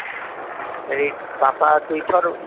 ଏଇ ବାପା ଦୁଇ ଥର